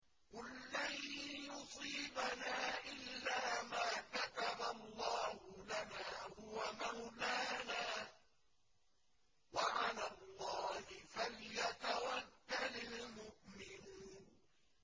قُل لَّن يُصِيبَنَا إِلَّا مَا كَتَبَ اللَّهُ لَنَا هُوَ مَوْلَانَا ۚ وَعَلَى اللَّهِ فَلْيَتَوَكَّلِ الْمُؤْمِنُونَ